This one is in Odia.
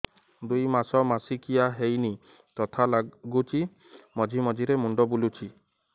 ଦୁଇ ମାସ ମାସିକିଆ ହେଇନି ଥକା ଲାଗୁଚି ମଝିରେ ମଝିରେ ମୁଣ୍ଡ ବୁଲୁଛି